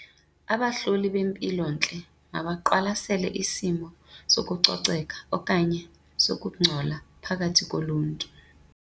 Abahloli bempilontle mabaqwalasele isimo sokucoceka okanye sokungcola phakathi koluntu.